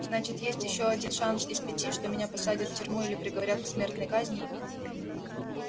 значит есть один шанс из пяти что меня посадят в тюрьму или приговорят к смертной казни